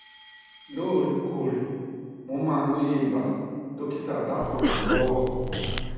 lóòrè kóòrè mo máa ń ní ibà dọkítà dákùn ràn mí lọwọ